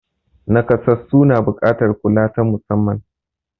Naƙasassu na buƙatar kula ta musamman.